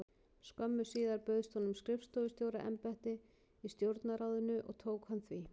Skömmu síðar bauðst honum skrifstofustjóra- embætti í Stjórnarráðinu og tók hann því.